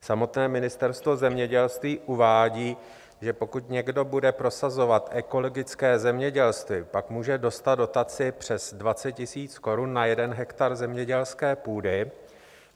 Samotné Ministerstvo zemědělství uvádí, že pokud někdo bude prosazovat ekologické zemědělství, pak může dostat dotaci přes 20 000 korun na jeden hektar zemědělské půdy.